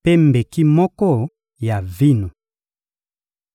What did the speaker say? mpe mbeki moko ya vino.